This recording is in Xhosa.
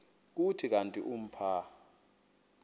kuthi kanti umpha